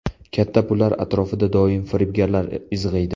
Katta pullar atrofida doim firibgarlar izg‘iydi.